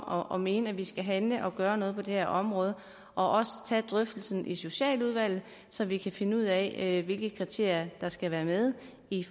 og mene at vi skal handle og gøre noget på det her område og også tage drøftelsen i socialudvalget så vi kan finde ud af hvilke kriterier der skal være med i